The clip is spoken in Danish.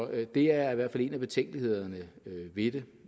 det er i hvert fald en af betænkelighederne ved det